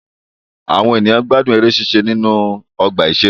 Àwọn ènìyàn gbádùn eré ṣíṣe nínú ọgbà ìṣeré